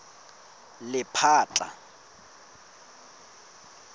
lephatla